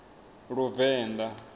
luvenḓa